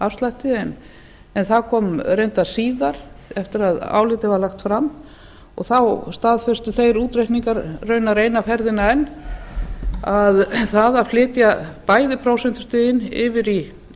skattleysismörkum og persónuafslætti en það kom reyndar síðar eftir að álitið var lagt fram og þá staðfestu þeir útreikningar raunar eina ferðina enn að það að flytja bæði prósentustigin yfir í